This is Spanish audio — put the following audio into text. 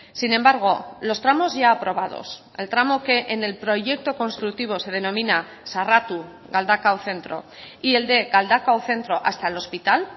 sin embargo los tramos ya aprobados el tramo que en el proyecto constructivo se denomina sarratu galdakao centro y el de galdakao centro hasta el hospital